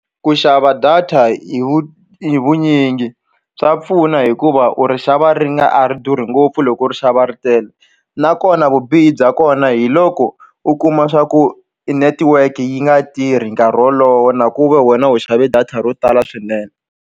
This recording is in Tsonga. Ku xava data hi vunyingi swa pfuna hikuva u ri xava ri nga a ri durhi ngopfu loko u ri xava ri tele nakona vubihi bya kona hi loko u kuma swa ku network yi nga tirhi nkarhi wolowo na ku ve wena u xave data ro tala swinene.